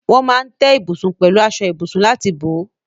Wọ́n máa ń tẹ́ ibùsùn pẹ̀lú aṣọ ibùsùn láti bò ó.